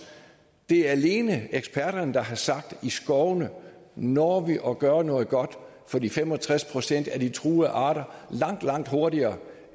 det er alene eksperterne der har sagt at i skovene når vi at gøre noget godt for de fem og tres procent af de truede arter langt langt hurtigere